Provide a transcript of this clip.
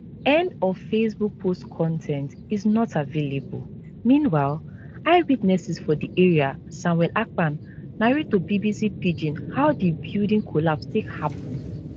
end of facebook post con ten t is not available meanwhile eyewitnesses for di area samuel akpan narrate to bbc pidgin how di building collapse take happun